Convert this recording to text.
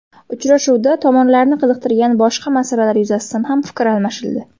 Uchrashuvda tomonlarni qiziqtirgan boshqa masalalar yuzasidan ham fikr almashildi.